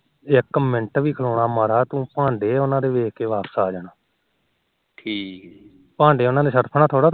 ਇੱਕ ਮਿੰਟ ਨੀ ਖਲੋਣਾ ਮਾਰਾਜ ਤੂੰ ਉਹਨਾ ਦੇ ਭਾਂਡੇ ਦੇਖ ਕੇ ਵਾਪਿਸ ਆ ਜਾਣਾ ਠੀਕ ਭਾਂਡੇ ਉਹਨਾ ਦੇ ਸਰਫ ਨਾਲ ਥੋਰਾ ਧੋਂਦੇ